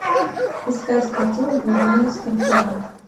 искать картину влюбленный скорпион